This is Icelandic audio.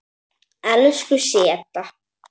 Elsku Setta.